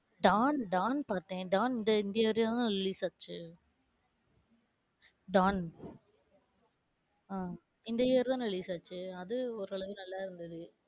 Don, Don பாத்தேன். Don இந்த இந்த year ல தான் release ஆச்சு. டான் ஆஹ் இந்த year தான release ஆச்சு அது ஒரு அளவு நல்லா இருந்தது.